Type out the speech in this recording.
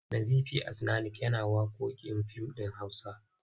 Nazifi As'nanik yana waƙoƙin fim ɗin Hausa.